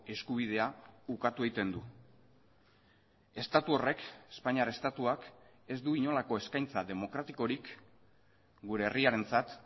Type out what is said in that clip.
eskubidea ukatu egiten du estatu horrek espainiar estatuak ez du inolako eskaintza demokratikorik gure herriarentzat